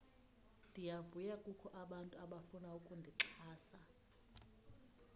ndiyavuya kukho abantu abafuna ukundixhasa